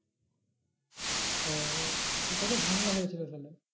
ও কত ঝামেলা হয়েছিল তাহলে